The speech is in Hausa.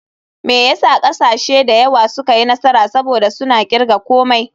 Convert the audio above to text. Me yasa kasashe da yawa suka yi nasara, saboda suna kirga komai.